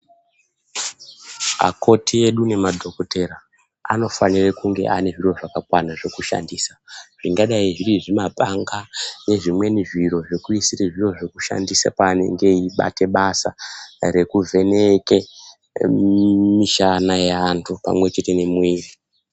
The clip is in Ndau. Akoti edu nema dhokotera anofanire kunge ane zviro zvaka kwana zvekushandisa zvingadai zviri mapanga nezvimwe zviro zveku isire zviro zvekushandisa paanenge eyi bate basa rekuvheneke mishana ye andu pamwe chete ne mwiri.